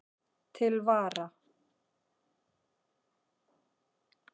Til vara